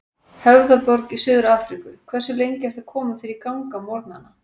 Höfðaborg í Suður-Afríku Hversu lengi ertu að koma þér í gang á morgnanna?